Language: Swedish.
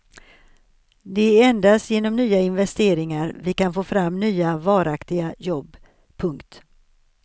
Det är endast genom nya investeringar vi kan få fram nya varaktiga jobb. punkt